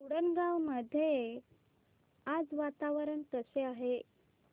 उंडणगांव मध्ये आज वातावरण कसे आहे